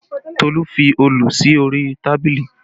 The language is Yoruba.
Tolu fi Òòlù sí orí tábìlì